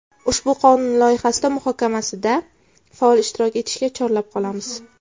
Ushbu qonun loyihasi muhokamasida faol ishtirok etishga chorlab qolamiz.